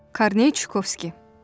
Korney Çukovski.